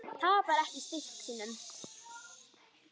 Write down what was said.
Tapar ekki styrk sínum.